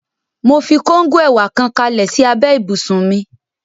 Mo fi kóngò ẹ̀wà kan kalẹ̀ sí abẹ́ ibùsùn mi